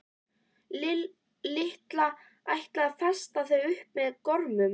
Lilla ætlaði að festa þau upp með gormum.